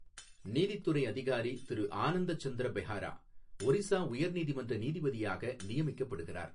நீதித்துறை அதிகாரி திரு ஆனந்த சந்திர பெஹெரா ஒரிசா உயர் நீதிமன்ற நீதிபதியாக நியமிக்கப்படுகிறார்